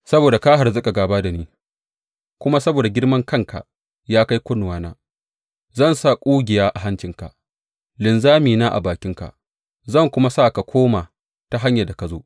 Saboda ka harzuƙa gāba da ni kuma saboda girmankanka ya kai kunnuwana, zan sa ƙugiya a hancinka linzamina a bakinka, zan kuma sa ka koma ta hanyar da ka zo.